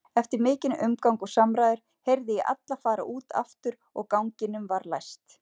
Eftir mikinn umgang og samræður heyrði ég alla fara út aftur og ganginum var læst.